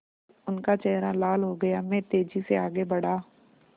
उनका चेहरा लाल हो गया मैं तेज़ी से आगे बढ़ा